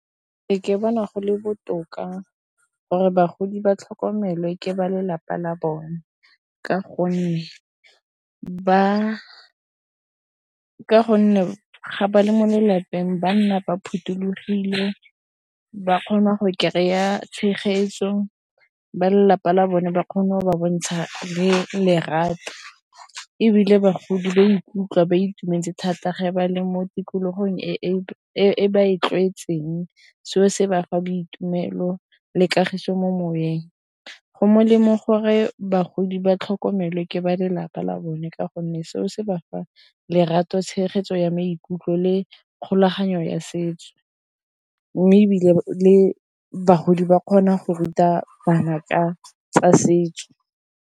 Ke bona go le botoka gore bagodi ba tlhokomelwe ke ba lelapa la bone, ka gonne ba ka gonne ga ba le mo lelapeng banna ba phothulogile ba kgona go kry-a tshegetso ba lelapa la bone ba kgone go ba bontsha le lerato ebile bagodi ba ikutlwa ba itumetse thata ge ba le mo tikologong e e ba e tlwaetseng seo se bafa boitumelo le kagiso mo moweng. Go molemo gore bagodi ba tlhokomelwe ke ba lelapa la bone ka gonne seo se ba fa lerato tshegetso ya maikutlo le kgolaganyo ya setso mme ebile le bagodi ba kgona go ruta bana ka tsa setso.